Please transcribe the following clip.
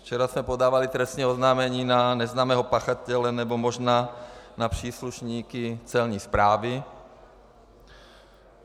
Včera jsme podávali trestní oznámení na neznámého pachatele nebo možná na příslušníky Celní správy.